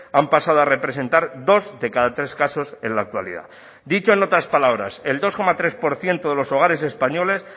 han pasado a representar dos de cada tres casos en la actualidad dicho en otras palabras el dos coma tres por ciento de los hogares españoles